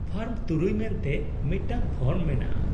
- Form ᱖ ᱢᱮᱱᱛᱮ ᱢᱤᱫᱴᱟᱝ form ᱢᱮᱱᱟᱜᱼᱟ ᱾